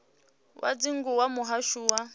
wa dzingu wa muhasho wa